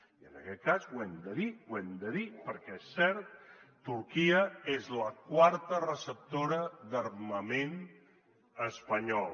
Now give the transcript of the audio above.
i en aquest cas ho hem de dir ho hem de dir perquè és cert turquia és la quarta receptora d’armament espanyol